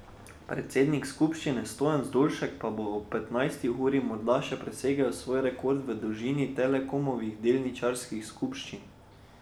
Predsednik skupščine, Stojan Zdolšek, bo lahko ob petnajsti uri morda še presegel svoj rekord v dolžini Telekomovih delničarskih skupščin.